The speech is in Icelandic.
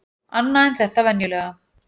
Annað en þetta venjulega.